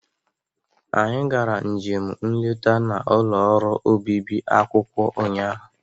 Anyị gara njem nleta n'ụlọ orụ obibi akwụkwọ ụnyaahụ.